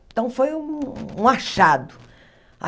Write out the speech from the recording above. Então, foi um um achado.